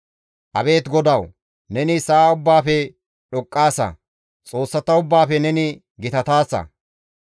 Abeet GODAWU! Neni sa7a ubbaafe dhoqqaasa; xoossata ubbaafe neni gitataasa.